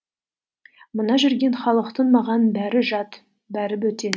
мына жүрген халықтың маған бәрі жат бәрі бөтен